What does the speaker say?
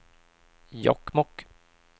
Jokkmokk